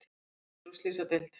Einn fluttur á slysadeild